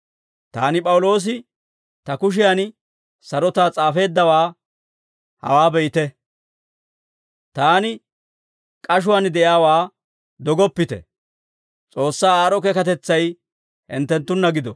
Taani P'awuloosi, ta kushiyan sarotaa s'aafeeddawaa hawaa be'ite; taani k'ashuwaan de'iyaawaa dogoppite. S'oossaa aad'd'o keekatetsay hinttenttunna gido.